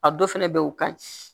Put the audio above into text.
A dɔ fɛnɛ be yen o ka ɲi